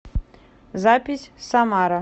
запись самара